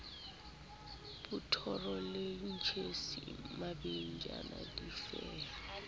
botoro le tjhisi mabejana difeme